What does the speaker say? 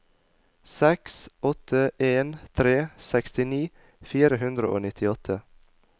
seks åtte en tre sekstini fire hundre og nittiåtte